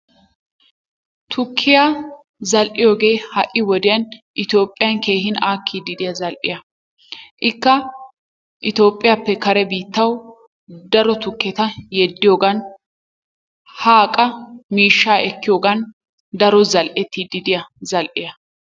Tukkiya zal'iyoogee ha'i wodiyan itiyophphiyan keehii aakidi diya zal'iya ikka Itiyoophphiyappe kare biittawu daro tukketta yeddiyogan haa qa miishshaa ekkiyoogan daro zal'ettidi diya zal'iya.